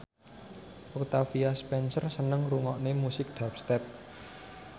Octavia Spencer seneng ngrungokne musik dubstep